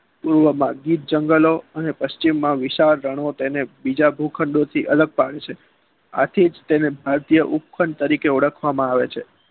મૂળા માંક્જીત જંગલો અને પચિમમાં વિશાળ રણો અને તેના બીજા ગોખ્ન્ડોથી અલગ પાડવામાં આવે છે આજ થી તેને ઉપખંડ તરીકે ઓળખવામાં આવે છે